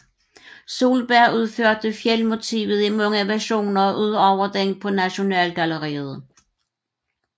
Solberg udførte fjeldmotivet i mange versioner ud over den på Nasjonalgalleriet